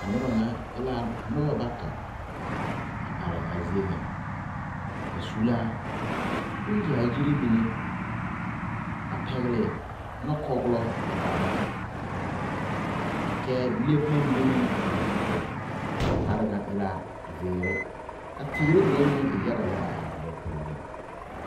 A nobɔ ŋa e la nobɔ bata a are a zie ŋa ba su laa bon yaayire mine a pɛgle nɔkɔɔlɔ a ba ta kyɛɛ le bomma mine meŋ a ba zu poɔ a ba kparre ŋa e la zeere ka teere mine meŋ e yaga lɛ a are a ba puoriŋ.